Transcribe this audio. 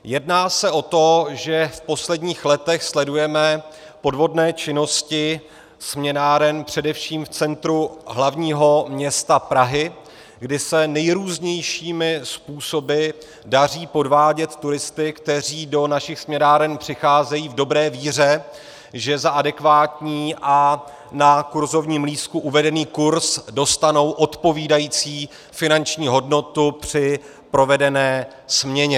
Jedná se o to, že v posledních letech sledujeme podvodné činnosti směnáren především v centru hlavního města Prahy, kdy se nejrůznějšími způsoby daří podvádět turisty, kteří do našich směnáren přicházejí v dobré víře, že za adekvátní a na kurzovním lístku uvedený kurz dostanou odpovídající finanční hodnotu při provedené směně.